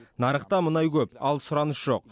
нарықта мұнай көп ал сұраныс жоқ